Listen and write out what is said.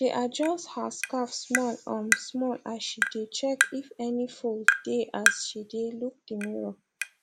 she adjust her scarf small um small as she dae check if any fold dae as she dae look mirror